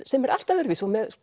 sem er allt öðruvísi og með